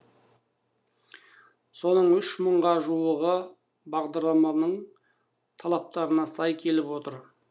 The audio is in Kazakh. соның үш мыңға жуығы бағдарламаның талаптарына сай келіп отыр